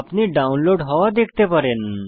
আপনি ডাউনলোড হওয়া দেখতে পারেন